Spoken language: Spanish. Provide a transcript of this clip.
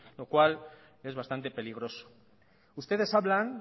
lo cual es bastante peligroso ustedes hablan